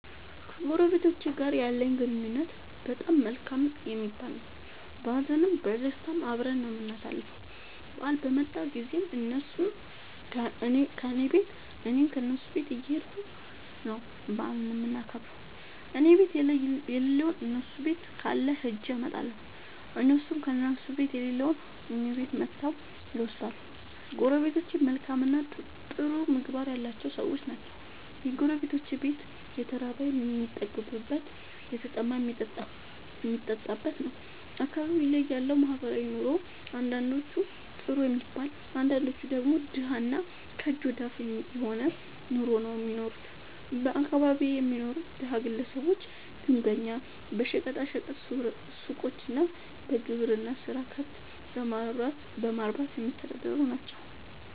ከጎረቤቶቸ ጋር ያለኝ ግንኙነት በጣም መልካም የሚባል ነዉ። በሀዘንም በደስታም አብረን ነዉ የምናሣልፈዉ በአል በመጣ ጊዜም እነሡም ከኔ ቤት እኔም ከነሡ ቤት እየኸድኩ ነዉ በዓሉን የምናከብር እኔቤት የለለዉን እነሡ ቤት ካለ ኸጀ አመጣለሁ። እነሡም ከእነሡ ቤት የሌለዉን እኔ ቤት መጥተዉ ይወስዳሉ። ጎረቤቶቸ መልካምእና ጥሩ ምግባር ያላቸዉ ሠዎች ናቸዉ። የጎረቤቶቼ ቤት የተራበ የሚጠግብበት የተጠማ የሚጠጣበት ነዉ። አካባቢዬ ላይ ያለዉ ማህበራዊ ኑሮ አንዳንዶቹ ጥሩ የሚባል አንዳንዶቹ ደግሞ ደሀ እና ከእጅ ወደ አፍ የሆነ ኑሮ ነዉ እሚኖሩት በአካባቢየ የሚኖሩት ደሀ ግለሰቦች ግንበኛ በሸቀጣ ሸቀጥ ሡቆች እና በግብርና ስራ ከብት በማርባትየሚተዳደሩ ናቸዉ።